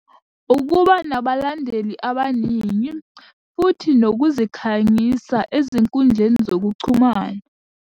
Ukuba nabalandeli abaningi futhi nokuzikhangisa ezinkundleni zokuchumana.